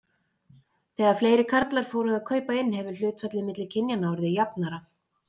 Þegar fleiri karlar fóru að kaupa inn hefur hlutfallið milli kynjanna orðið jafnara.